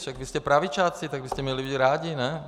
Však vy jste pravičáci, tak byste měli být rádi, ne?